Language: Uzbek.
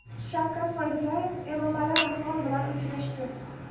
Shavkat Mirziyoyev Emomali Rahmon bilan uchrashdi.